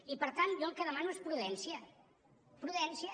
i per tant jo el que demano és prudència prudència